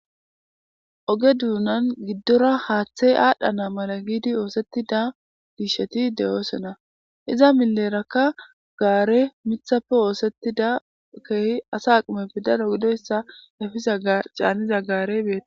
Oge duunan giddora haaththey aadhana mala giidi oothetida disheti de'osona iza mileraka gaarey miththappe oosettida keehi asa aqimeppe daro gidoyssa efiza caaniza gaarey beettees